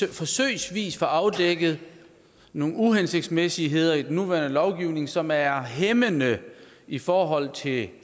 vi forsøgsvis kan få afdækket nogle uhensigtsmæssigheder i den nuværende lovgivning som er hæmmende i forhold til